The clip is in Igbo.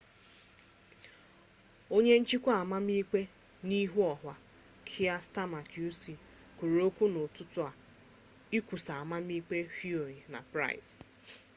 onye nchịkwa amamikpe n'ihu ọha kier stama qc kwuru okwu n'ụtụtụ a ikwusa amamikpe huhne na pryce